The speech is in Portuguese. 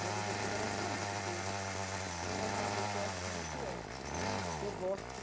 Meu objetivo era sair, porque eu sou aquela pessoa assim, inquieta. Eu gosto